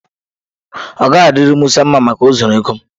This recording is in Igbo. Ọ gaghị adịri Musa mma Maka o zuru ego m.